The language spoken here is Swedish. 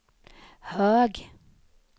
hög